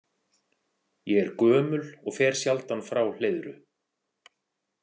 Ég er gömul og fer sjaldan frá Hleiðru.